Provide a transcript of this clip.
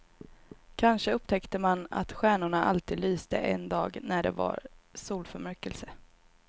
Kanske upptäckte man att stjärnorna alltid lyste en dag när det var solförmörkelse.